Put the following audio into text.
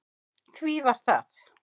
Því var það